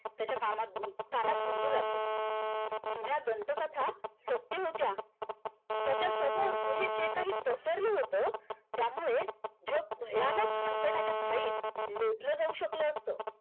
त्याच्या कामात लागले जुन्या दंत कथा सत्य होत्या त्याच्या समोर गुहेत जे काही पसरलं होतं त्यामुळे जग भयानक संकटाच्या खाईत लोटले जाऊ शकलं असतं